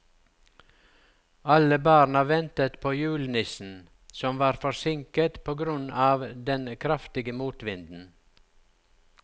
Alle barna ventet på julenissen, som var forsinket på grunn av den kraftige motvinden.